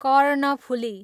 Karnaphuli